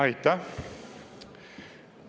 Aitäh!